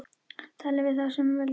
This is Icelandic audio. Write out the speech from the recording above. Tala við þá sem völdin hafa.